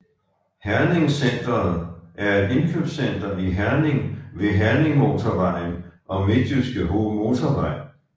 herningCentret er et indkøbscenter i Herning ved Herningmotorvejen og Midtjyske Motorvej